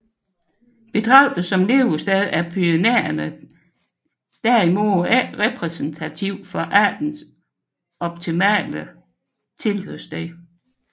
Betragtet som levested er Pyrenæerne derimod ikke repræsentativ for artens optimale habitat